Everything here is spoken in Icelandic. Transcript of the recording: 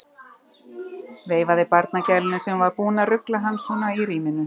Veifaði barnagælunni sem var búin að rugla hann svona í ríminu.